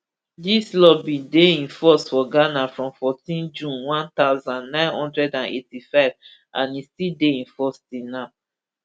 dis law bin dey in force for ghana from fourteen june one thousand, nine hundred and eighty-five and e still dey in force till now